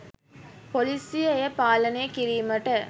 පොලිසිය එය පාලනය කිරීමට